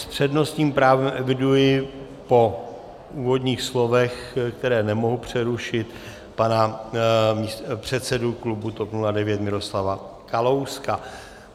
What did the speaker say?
S přednostním právem eviduji po úvodních slovech, která nemohu přerušit, pana předsedu klubu TOP 09 Miroslava Kalouska.